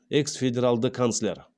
экс федералды канцлер